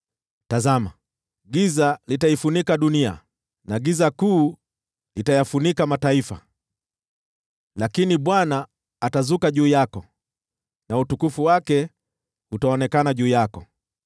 Tazama, giza litaifunika dunia na giza kuu litayafunika mataifa, lakini Bwana atazuka juu yako na utukufu wake utaonekana juu yako.